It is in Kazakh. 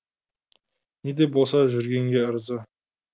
не де болса жүргенге ырза